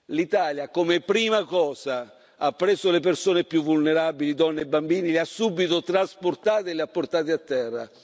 l'Italia come prima cosa ha preso le persone più vulnerabili, donne e bambini, le ha subito trasportate e le ha portate a terra.